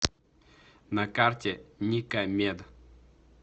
на карте ника мед